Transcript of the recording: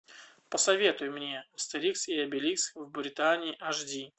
посоветуй мне астерикс и обеликс в британии аш ди